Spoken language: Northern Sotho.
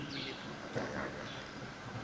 bolepu ngaka ya bona e